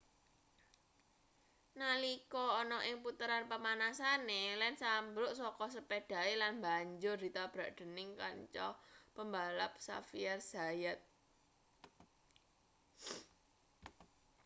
nalika ana ing puteran pamanasane lenz ambruk saka sepedhahe lan banjur ditabrak dening kanca pembalap xavier zayat